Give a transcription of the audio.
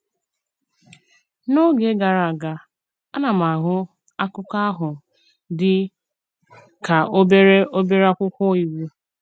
N’ógè gàrà aga, a na m ahụ̀ akụkọ̀ ahụ̀ dị kà obere obere akwụkwọ íwú.